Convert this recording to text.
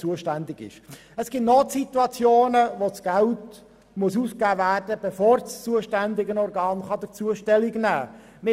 Es gibt Notsituationen, wo Geld ausgegeben werden muss, bevor das zuständige Organ dazu Stellung nehmen kann.